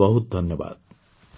ବହୁତ ବହୁତ ଧନ୍ୟବାଦ